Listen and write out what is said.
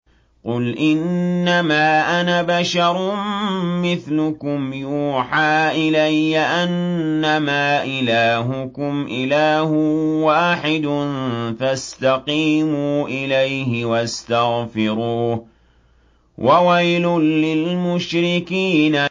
قُلْ إِنَّمَا أَنَا بَشَرٌ مِّثْلُكُمْ يُوحَىٰ إِلَيَّ أَنَّمَا إِلَٰهُكُمْ إِلَٰهٌ وَاحِدٌ فَاسْتَقِيمُوا إِلَيْهِ وَاسْتَغْفِرُوهُ ۗ وَوَيْلٌ لِّلْمُشْرِكِينَ